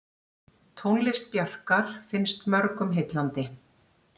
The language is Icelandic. Tónlist Bjarkar finnst mörgum heillandi.